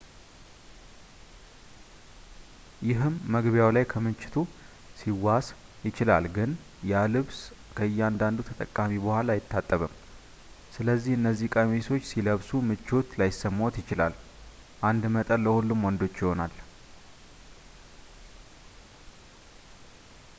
ይህም መግቢያው ላይ ከክምችቱ ሊዋስ ይችላል ግን ያ ልብስ ከእያንዳንዱ ተጠቃሚ በኋላ አይታጠብም ስለዚህ እነዚህን ቀሚሶች ሲለብሱ ምቾት ላይሰማዎት ይችላል አንድ መጠን ለሁሉም ወንዶች ይሆናል